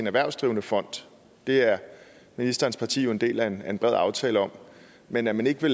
erhvervsdrivende fond det er ministerens parti jo en del af en bred aftale om men at man ikke